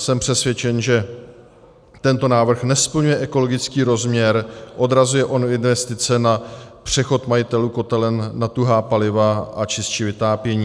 Jsem přesvědčen, že tento návrh nesplňuje ekologický rozměr, odrazuje od investice na přechod majitelů kotelen na tuhá paliva a čistší vytápění.